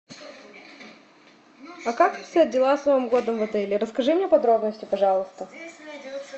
а как обстоят дела с новым годом в отеле расскажи мне подробности пожалуйста